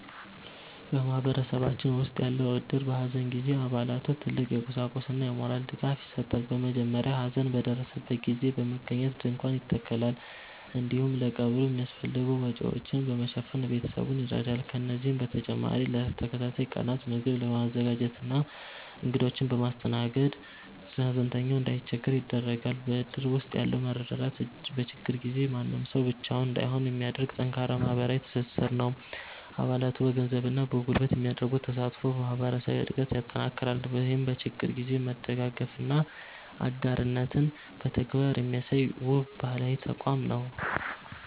በማህበረሰባችን ውስጥ ያለው እድር፣ በሐዘን ጊዜ ለአባላቱ ትልቅ የቁሳቁስና የሞራል ድጋፍ ይሰጣል። በመጀመሪያ ሐዘን በደረሰበት ቤት በመገኘት ድንኳን ይተከላል፤ እንዲሁም ለቀብሩ የሚያስፈልጉ ወጪዎችን በመሸፈን ቤተሰቡን ይረዳል። ከዚህም በተጨማሪ ለተከታታይ ቀናት ምግብ በማዘጋጀትና እንግዶችን በማስተናገድ፣ ሐዘንተኛው እንዳይቸገር ያደርጋል። በእድር ውስጥ ያለው መረዳዳት፣ በችግር ጊዜ ማንም ሰው ብቻውን እንዳይሆን የሚያደርግ ጠንካራ ማህበራዊ ትስስር ነው። አባላቱ በገንዘብና በጉልበት የሚያደርጉት ተሳትፎ ማህበረሰባዊ አንድነትን ያጠናክራል። ይህም በችግር ጊዜ መደጋገፍንና አጋርነትን በተግባር የሚያሳይ፣ ውብ ባህላዊ ተቋም ነው።